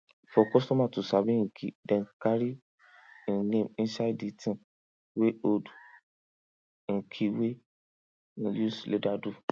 for customer to sabi hin key dem carv him name inside di ting wey hold him key wey him use leather do